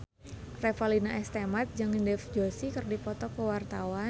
Revalina S. Temat jeung Dev Joshi keur dipoto ku wartawan